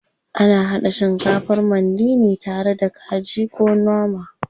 Ana haɗa shikafar mandi ne tare da kaji ko nama.